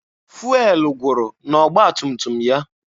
Fụelụ gwụrụ n'ọgba tum tum ya.